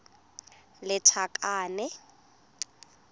lethakane